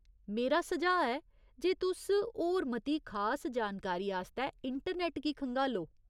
मेरा सुझाऽ ऐ जे तुस होर मती खास जानकारी आस्तै इंटरनेट गी खंगालो।